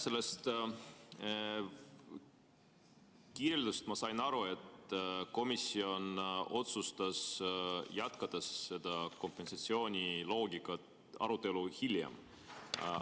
Sellest kirjeldusest ma sain aru, et komisjon otsustas kompensatsiooniloogika arutelu hiljem jätkata.